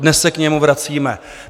Dnes se k němu vracíme.